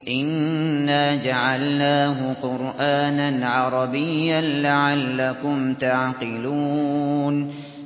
إِنَّا جَعَلْنَاهُ قُرْآنًا عَرَبِيًّا لَّعَلَّكُمْ تَعْقِلُونَ